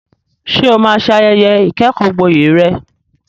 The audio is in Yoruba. Ṣé o máa ṣe ayẹyẹ ìkẹ́kọ̀ọ́gboyè rẹ?